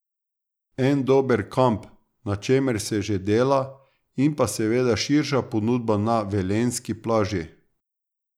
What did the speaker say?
En dober kamp, na čemer se že dela in pa seveda širša ponudba na velenjski plaži.